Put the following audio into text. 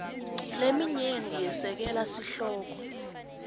leminyenti yesekela sihloko